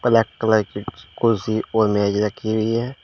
Black colour की कुर्सी और मेज रखी हुई है।